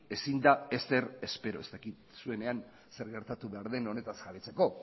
ezin da ezer espero ez dakit zuenean zer gertatu behar den honetaz jabetzeko